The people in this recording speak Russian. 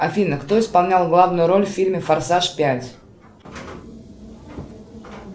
афина кто исполнял главную роль в фильме форсаж пять